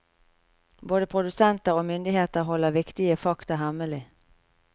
Både produsenter og myndigheter holder viktige fakta hemmelig.